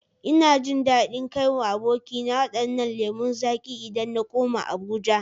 Ina jin dadin kai wa abokina wadannan lemu zaƙi idan na koma Abuja